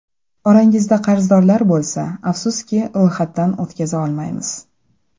Orangizda qarzdorlar bo‘lsa, afsuski, ro‘yxatdan o‘tkaza olmaymiz.